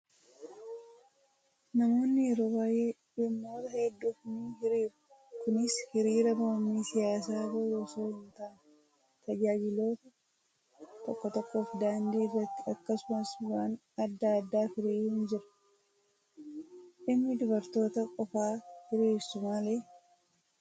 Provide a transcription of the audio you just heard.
Namoonni yeroo baay'ee dhimmoota hedduuf ni hiriiru. Kunis hiriira mormii siyaasaa bahuu osoo hin taane, tajaajiloota tokko tokkoof daandii irratti akkasumas waan adda addaaf hiriiruun jira. Dhimmi dubartoota qofaa hiriirsu maali?